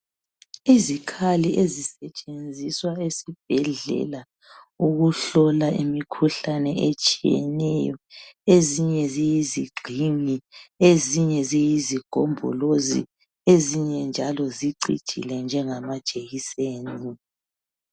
Izikhali ezisetshenziswa ezibhedlela ukuhlola imikhuhlane etshiyeneyo ezinye ziyisigxingi ezinye ziyisigombolozi ezinye njalo zicijile njengama jekiseni